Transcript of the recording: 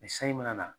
Ni sanji mana na